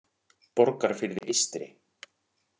Borgarfirði eystri